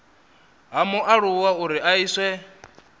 ha mualuwa uri a iswe